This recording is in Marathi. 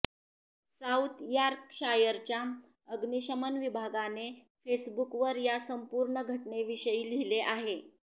साऊथ यॉर्कशायरच्या अग्निशमन विभागाने फेसबुकवर या संपूर्ण घटनेविषयी लिहिले आहे